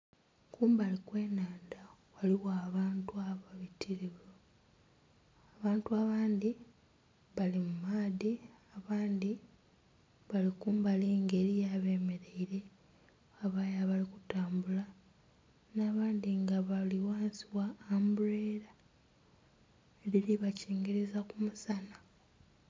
Kumbali kwe nhandha ghaligho abantu ababitirivu, abantu abandhi bali mu maadhi abandhi bali kumbali nga eriyo abemereire, ghabayo abali kutambula nha abandhi nga bali ghansi gha ambulera edhiri bakingiriza ku musaanha.